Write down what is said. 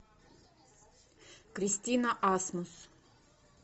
кристина асмус